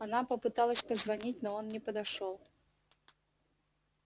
она попыталась позвонить но он не подошёл